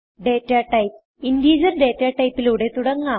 data types integer data type ലൂടെ തുടങ്ങാം